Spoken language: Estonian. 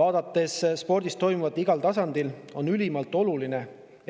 Vaadates spordis toimuvat laiemalt, on ülimalt oluline,